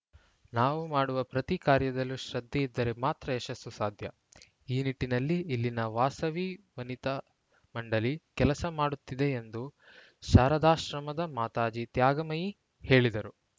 ನಾವು ಮಾಡುವ ಪ್ರತಿ ಕಾರ್ಯದಲ್ಲೂ ಶ್ರದ್ಧೆ ಇದ್ದರೆ ಮಾತ್ರ ಯಶಸ್ಸು ಸಾಧ್ಯ ಈ ನಿಟ್ಟಿನಲ್ಲಿ ಇಲ್ಲಿನ ವಾಸವಿ ವನಿತಾ ಮಂಡಳಿ ಕೆಲಸ ಮಾಡುತ್ತಿದೆ ಎಂದು ಶಾರದಾಶ್ರಮದ ಮಾತಾಜಿ ತ್ಯಾಗಮಯಿ ಹೇಳಿದರು